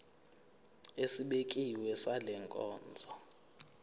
esibekiwe sale nkonzo